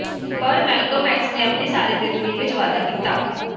ਪਰ Malcolm X ਨੇ ਆਪਣੀ ਸਾਰੀ ਜ਼ਿੰਦਗੀ ਵਿੱਚ ਵਾਧਾ ਕੀਤਾ